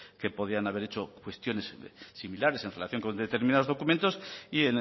que podían haber hecho cuestiones similares en relación con determinados documentos y